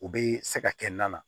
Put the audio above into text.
U bɛ se ka kɛ na na